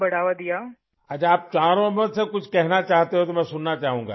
ٹھیک ہے، اگر آپ چاروں مجھ سے کچھ کہنا چاہتے ہیں، تو میں اسے سننا چاہوں گا